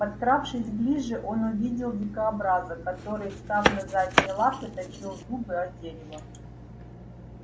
подкравшись ближе он увидел дикобраза который встав на задние лапы точил зубы о дерево